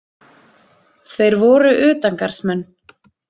Þeir voru utangarðsmenn.